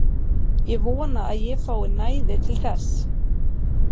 Ég vona að ég fái næði til þess.